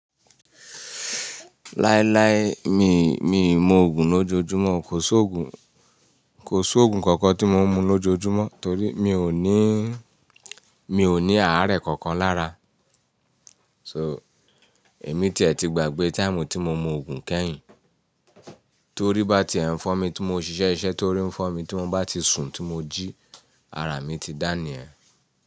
Láíláí miì, mi ò mu òògùn lójoojúmọ́. Kò sí òògùn, kò sí òògùn kankan tí mo ń mu lójoojúmọ́ torí mi ò ní, mi ò ní àárẹ̀ kankan lára. So, èmi tí ẹ̀ ti gbàgbé táìmù tí mo mu òògùn kẹ́yìn. Torí bá ti ẹ̀ ń fọ́ mi tí mo ṣiṣẹ́ ṣiṣẹ́ torí ń fọ́ mi tí mo bá ti sùn tí mo jí, ara mi ti dání yẹn.